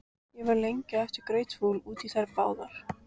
Ég var lengi á eftir grautfúl út í þær báðar.